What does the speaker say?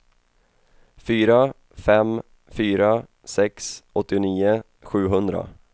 fyra fem fyra sex åttionio sjuhundra